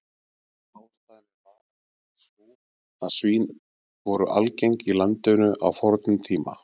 Ástæðan er vafalítið sú að svín voru algeng í landinu á fornum tíma.